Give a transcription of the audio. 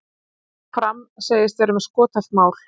Fram segist vera með skothelt mál